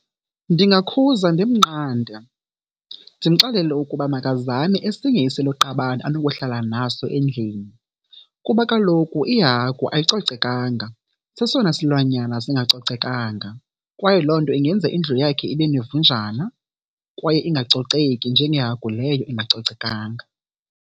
Ndingakuza ndimnqande, ndimxelele ukuba makazame esinye isiloqabane anokuhlala naso endlini. Kuba kaloku ihagu ayicocekanga, sesona silwanyana singacocekanga kwaye loo nto ingenza indlu yakhe ibe nevunjana kwaye ingacoceki njengehagu leyo ingacocekanga.